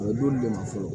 O don de ma fɔ fɔlɔ